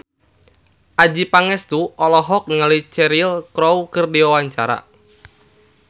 Adjie Pangestu olohok ningali Cheryl Crow keur diwawancara